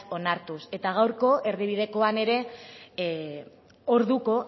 onartuz eta gaurko erdibidekoan ere orduko